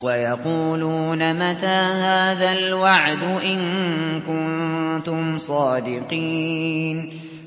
وَيَقُولُونَ مَتَىٰ هَٰذَا الْوَعْدُ إِن كُنتُمْ صَادِقِينَ